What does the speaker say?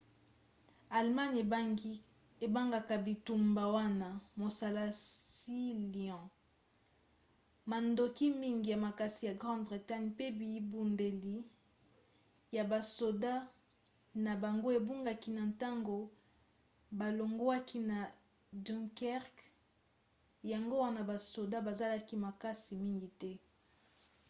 allemagne ebengaka bitumba wana mosala sealion". mandoki mingi ya makasi ya grande bretagne pe bibundeli ya basoda na bango ebungaki na ntango balongwaki na dunkerque yango wana basoda bazalaki makasi mingi te